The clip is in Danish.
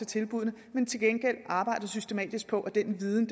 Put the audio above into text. tilbuddene til gengæld arbejder vi systematisk på at den viden